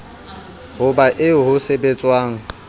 ho ba eo ho sebetswang